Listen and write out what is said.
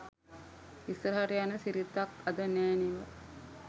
ඉස්සරහට යන සිරිතක් අද නෑ නෙව.